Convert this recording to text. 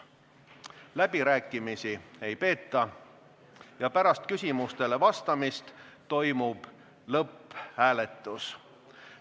Läbirääkimisi ei peeta ja pärast küsimustele vastamist toimub lõpphääletus.